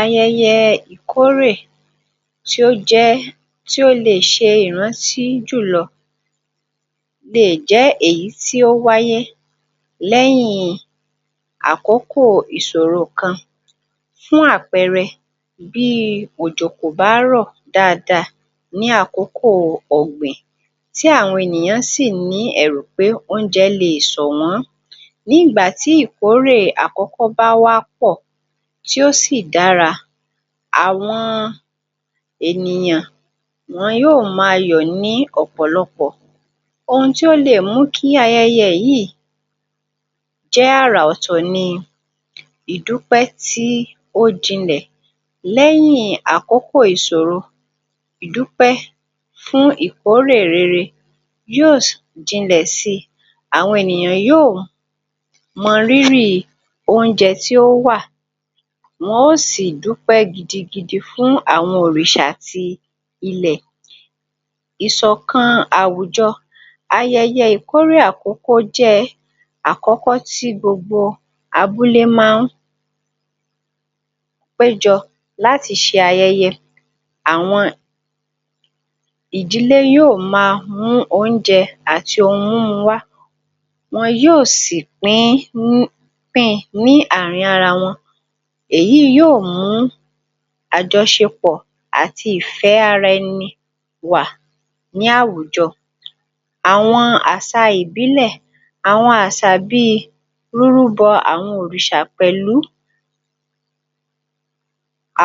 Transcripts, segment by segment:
Ayẹyẹ ìkorè só jẹ́, só le ṣe ìrántí jùlọ́ lè jẹ́ èyítí ó wá yé lẹ́yìn àkókò ìsọ̀ro kan fún àpẹrẹ bí i òjò kò bá rọ̀ daadaa ní àkókò ọ̀gbìn tí àwọn èniyàn sì ní ẹ̀rù pé oúnjẹ le sọ̀wọn nígbà tí ìkórè àkọ́kọ́ bá wà pọ̀, tí ó sì dára àwọn ènìyàn wọn yóó ma yọ̀ ní ọ̀pọ̀lọpọ̀ ohun tí ó lè mú kí ayẹyẹ yìí jẹ́ àrà ọ̀tọ̀ ni ìdúpẹ́ tí ó jinlẹ̀. Lẹ̀yìn àkọ́kọ̀ ìsòro ìdúpẹ́ fún ikórè rere yóó jinlẹ̀ àwọn ènìyàn yóó mọ rírì oúnjẹ tí ó wà, wọn ó sì dúpẹ́ gidigidi fún àwọn òrìṣà ti ilẹ̀. Ìsọ̀kan àwùjọ ayẹyẹ ìkorè àkókó, àkọ́kọ́ tí gbogbo abúlé ma ń pé jọ láti ṣe ayẹyẹ, àwọn ìdílé yóó ma mú oúnjẹ àti ohun múmu wá wọn yóó sì pín, pín in láàárín àwọn ara wọn èyí yóó mú àjọsepọ̀ àti ìfẹ́ ara ẹni wà ní àwùjọ. Àwọn àṣa, àṣà ìbílẹ̀ àwọn àṣà bí i rúrú bọ àwọn òrìṣà pẹ̀lú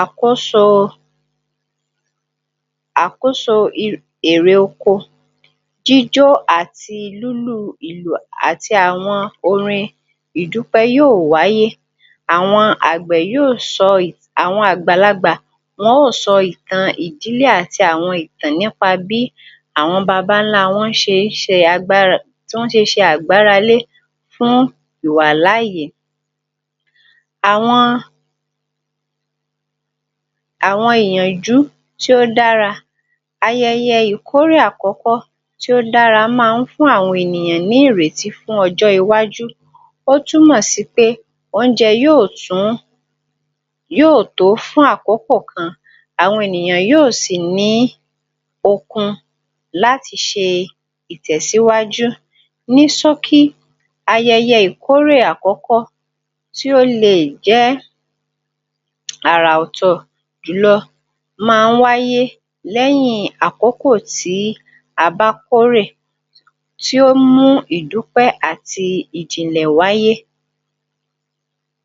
àkóso àkóso è èrè oko jíjó àti lúlù ìlù àti àwọn orin ìdúpẹ́ yóó wáyé àwọn àgbẹ̀ yóó sọ́, àwọn àgbàlagbà wọn ó sọ ìtan ìdílé àti àwọn ìtàn ní pa bí àwọn babańlá wọn ṣe ń ṣe agbára tí wọn ṣe ṣe àgbáralé fún ìwà láààyè. Àwọn àwọn iyànjú tí ó dára ayẹyẹ ìkorè àkọ́kọ́ tió dára ma ń fún àwọn ènìyàn ní ìrètí fún ọjọ́ iwájú ó tún mọ̀ sí pe oúnjẹ yóó tún yóó tó fún àkókò kan. Àwọn ènìyàn yóó sì ní okun láti ṣe ìtẹ̀síwájú ní ṣókí ayẹyẹ ìkorè àkọ́kọ́ tí ó le jẹ́ àrà ọ̀tọ̀ jùlọ ma ń wáyé lẹ́yìn àkókò tí a bá kórè tí ó mú ìdúpẹ́ àti ìjìnlẹ̀ wáyé.